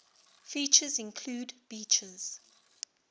features include beaches